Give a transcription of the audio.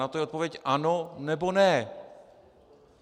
Na to je odpověď ano, nebo ne.